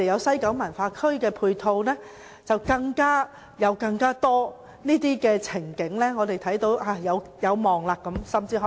西九文化區的配套及很多其他情景，令我們看到一點希望。